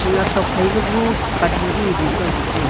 yuya tokphai ngo phai toh hu pan nu boh yao ngan tega.